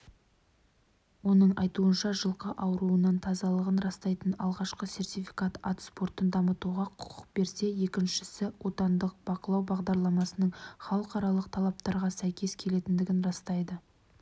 оның айтуынша жылқыауруынан тазалығын растайтын алғашқы сертификат ат спортын дамытуға құқық берсе екіншісі отандық бақылау бағдарламасының халықаралық талаптарға сәйкес келетіндігін растайды